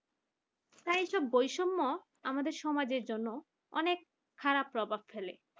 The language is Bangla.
তাই এইসব বৈষম্য আমাদের সমাজের জন্য অনেক খারাপ প্রভাব ফেলে